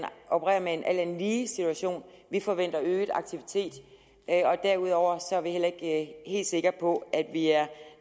opererer med en alt andet lige situation vi forventer øget aktivitet og derudover er vi heller ikke helt sikre på at vi er